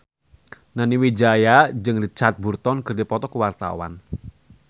Nani Wijaya jeung Richard Burton keur dipoto ku wartawan